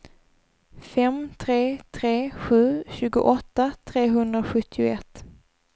fem tre tre sju tjugoåtta trehundrasjuttioett